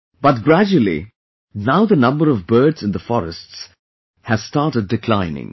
But gradually, now the number of birds in the forests has started declining